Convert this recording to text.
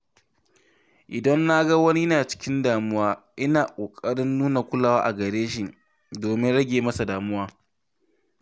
Idan na ga wani yana cikin damuwa, ina ƙoƙarin nuna kulawa a gareshi domin rage masa damuwa.